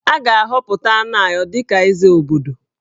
A ga-ahọpụta Anayo dị ka Eze obodo